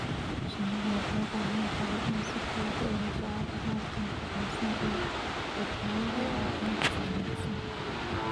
Shinnidu waxay u baahan tahay inay si fudud u hesho calafka nafaqaysan ee badbaadada iyo caafimaadka wanaagsan.